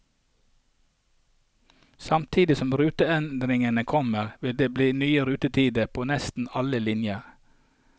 Samtidig som ruteendringene kommer, vil det bli nye rutetider på nesten alle linjer.